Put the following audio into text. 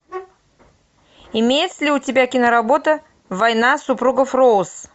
имеется ли у тебя киноработа война супругов роуз